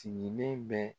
Sigilen bɛ